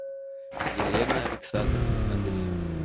елена александровна андреева